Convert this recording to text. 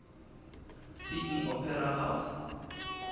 sydney opera house